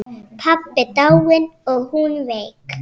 Pabbi dáinn og hún veik.